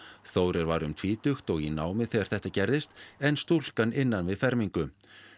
Þórir var um tvítugt og í námi þegar þetta gerðist en stúlkan innan við fermingu